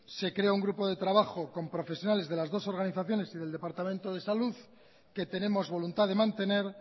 se creó un grupo de trabajo con profesionales de las dos organizaciones y del departamento de salud que tenemos voluntad de mantener